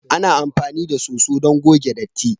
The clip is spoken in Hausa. Ana amfani da soso don goge datti.